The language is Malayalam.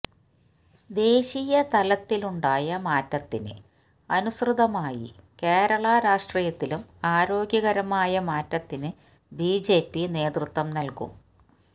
ദേശീയ തലത്തിലുണ്ടായ മാറ്റത്തിന് അനുസൃതമായി കേരള രാഷ്ട്രീയത്തിലും ആരോഗ്യകരമായ മാറ്റത്തിന് ബിജെപി നേതൃത്വം നല്കും